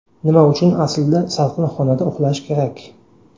Nima uchun aslida salqin xonada uxlash kerak?.